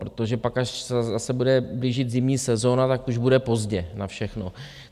Protože pak, až se zase bude blížit zimní sezona, tak už bude pozdě na všechno.